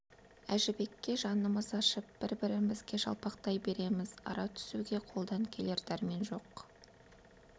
әжібекке жанымыз ашып бір-бірімізге жалпақтай береміз ара түсуге қолдан келер дәрмен жоқ